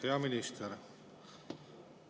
Hea minister!